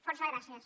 fòrça gràcies